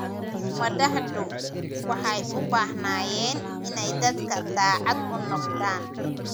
Madaxdu waxay u baahnaayeen inay dadka daacad u noqdaan.